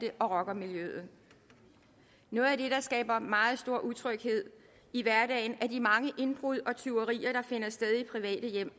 og rockermiljøet noget af det der skaber meget stor utryghed i hverdagen er de mange indbrud og tyverier der finder sted i private hjem